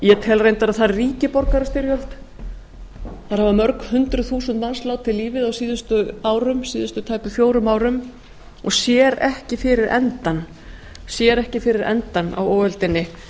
ég tel reyndar að þar ríki borgarastyrjöld þar hafa mörg hundruð þúsund manns látið lífið á síðustu árum síðustu tæpum fjórum árum og sér ekki fyrir endann á óöldinni